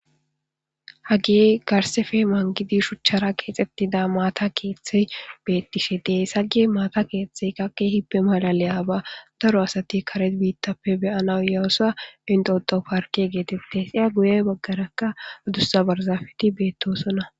hagey garsefe mangidi shuchchara geexxettida maata keeththey bettishe dee hage maata keeththey qa kehippe malaleyiba daro asati kare biittappe beyana yawusa initoto parke geetette siya guye baggarakka adussa barzafeti beettosona